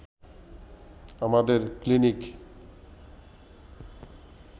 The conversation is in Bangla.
আমাদের ক্লিনিক